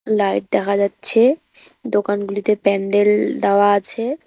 Light দেখা যাচ্ছে দোকানগুলিতে প্যান্ডেল দেওয়া আছে।